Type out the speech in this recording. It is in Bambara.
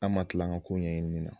An man tila an ka ko ɲɛɲinini na.